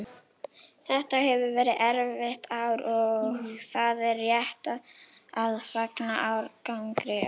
Þetta hefur verið erfitt ár og það er rétt að fagna árangri okkar.